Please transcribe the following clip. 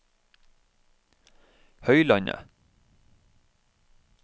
Høylandet